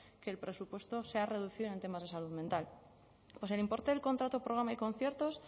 que el presupuesto se ha reducido en temas de salud mental pues el importe del contrato programa y conciertos